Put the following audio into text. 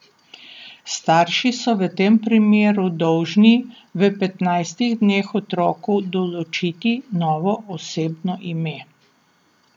Starši so v tem primeru dolžni v petnajstih dneh otroku določiti novo osebno ime.